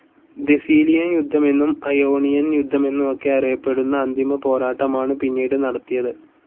ദേസീലിയൻ യുദ്ധമെന്നും അയോണിയൻ യുദ്ധമെന്നും ഒക്കെ അറിയപ്പെടുന്ന അന്തിമപോരാട്ടമാണ് പിന്നീട് നടത്തിയത്.